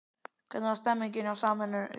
Hvernig er stemningin hjá Samherjum?